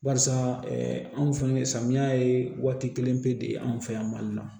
Barisa anw fɛnɛ samiya ye waati kelen pe de ye anw fɛ yan mali la